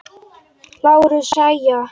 LÁRUS: Jæja!